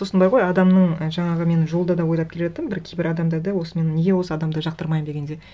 сосын бар ғой адамның жаңағы мен жолда да ойлап келе жаттым бір кейбір адамдарды осы мен неге осы адамды жақтырмаймын дегенде